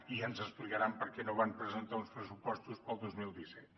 i ja ens explicaran per què no van presentar uns pressupostos per al dos mil disset